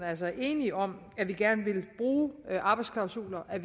altså enige om at vi gerne vil bruge arbejdsklausuler og